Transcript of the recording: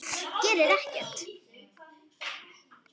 Gerir ekkert.